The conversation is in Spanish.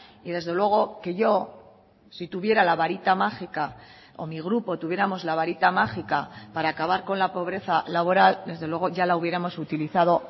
y desde luego que yo si tuviera la varita mágica o mi grupo tuviéramos la varita mágica para acabar con la pobreza laboral desde luego ya la hubiéramos utilizado